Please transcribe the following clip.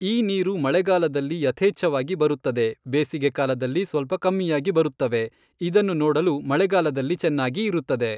ಈ ನೀರು ಮಳೆಗಾಲದಲ್ಲಿ ಯಥೇಚ್ಛವಾಗಿ ಬರುತ್ತದೆ ಬೇಸಿಗೆ ಕಾಲದಲ್ಲಿ ಸ್ವಲ್ಪ ಕಮ್ಮಿಯಾಗಿ ಬರುತ್ತವೆ ಇದನ್ನು ನೋಡಲು ಮಳೆಗಾಲದಲ್ಲಿ ಚೆನ್ನಾಗಿ ಇರುತ್ತದೆ